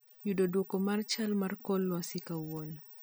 Yud dwoko mar chal mar kor lwasi kawuono